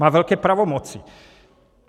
Má velké pravomoce.